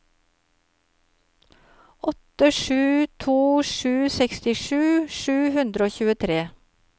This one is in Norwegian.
åtte sju to sju sekstisju sju hundre og tjuetre